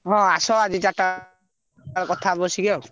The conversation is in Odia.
ହଁ ଆସ ଆଜି ଚାରିଟା କଥା ହବା ବସିକି ଆଉ।